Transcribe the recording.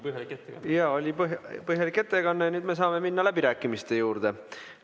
Oli põhjalik ettekanne ja me saame minna läbirääkimiste juurde.